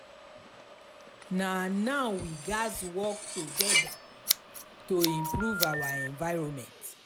na now we gatz work together to improve our environment.